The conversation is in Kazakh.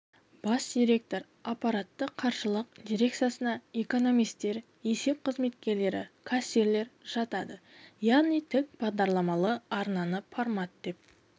бас директор аппараты қаржылық дирекциясына экономистер есеп қызметкерлері кассирлер жатады яғни тік бағдарламалы арнаны формат деп